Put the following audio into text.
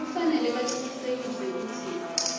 kufanele bacinisekise kutsi